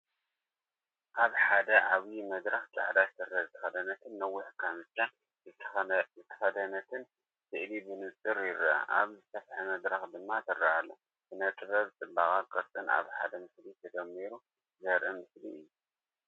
ኣብዚ ሓደ ዓቢይ መድረኽ ጻዕዳ ስረ ዝተኸድነትን ነዊሕ ካምቻን ዝተኸድነትን ስእሊ ብንጹር ይርአ፡ ኣብ ዝሰፍሐ መድረኽ ድማ ትርአ ኣላ። ስነ-ጥበብ ጽባቐን ቅርጽን ኣብ ሓደ ምስሊ ተደሚሩ ዘርኢ ምስሊ እዩ።